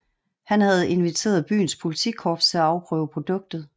Han havde inviteret byens politikorps til at afprøve produktet